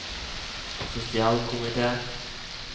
sosialkomite